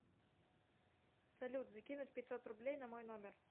салют закинуть пятьсот рублей на мой номер